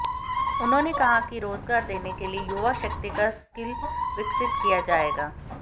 उन्होंने कहा कि रोजगार देने के लिए युवाशक्ति का स्किल विकसित किया जाएगा